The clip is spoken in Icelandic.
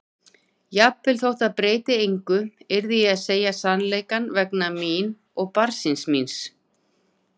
Jafnvel þótt það breytti engu yrði ég að segja sannleikann vegna mín og barnsins míns.